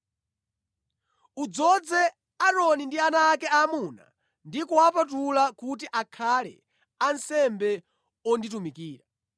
“Udzoze Aaroni ndi ana ake aamuna ndi kuwapatula kuti akhale ansembe onditumikira.